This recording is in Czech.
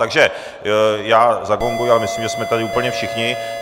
Takže já zagonguji, ale myslím, že jsme tady úplně všichni.